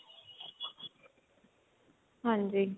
ਹਾਂਜੀ